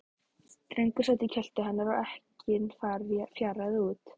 Drengur sat í kjöltu hennar og ekkinn fjaraði út.